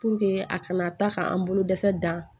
Puruke a kana taa k'an bolo dɛsɛ dan